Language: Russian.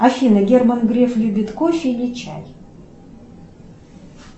афина герман греф любит кофе или чай